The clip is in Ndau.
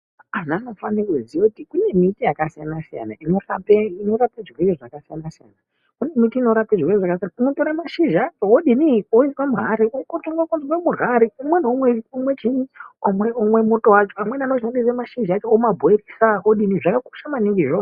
Anhu anofane kuziya kuti kune miti yakasiyana-siyana inorape zvirwere zvakasiyana-siyana. Kune miti inorape zvirwere zvakasiyana. Unotora mashizha wodini, woise muhari. Amweni anotore mashizha acho omabhoirisa, odini, zvakakosha maningi izvozvo.